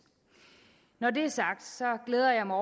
når det er sagt glæder jeg mig